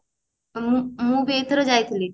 ମୁଁ ମୁଁ ବି ଏଇଥର ଯାଇଥିଲି